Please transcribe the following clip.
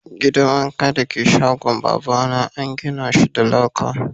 Gidan wanka dake shagon baba na an gina shi da laka.